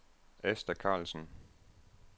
Asta Karlsen